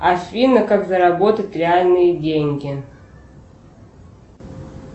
афина как заработать реальные деньги